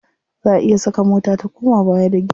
Za a iya saka mota ta koma baya da giya.